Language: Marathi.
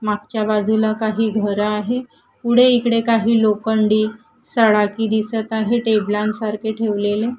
मागच्या बाजूला काही घरं आहे पुढे इकडे काही लोखंडी सळाखी दिसत आहे टेबलांसारखे ठेवलेले.